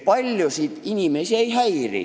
Paljusid inimesi see ei häiri.